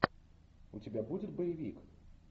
у тебя будет боевик